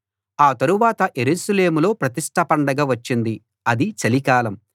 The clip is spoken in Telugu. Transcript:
ఆ తరువాత యెరూషలేములో ప్రతిష్ట పండగ వచ్చింది అది చలికాలం